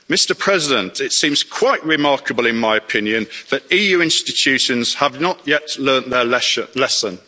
Mr President, it seems quite remarkable in my opinion that EU institutions have not yet learnt their lesson.